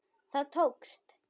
Það tókst.